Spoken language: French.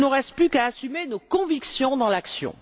Il ne nous reste plus qu'à assumer nos convictions dans l'action!